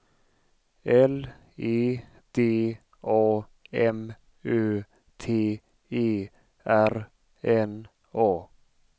L E D A M Ö T E R N A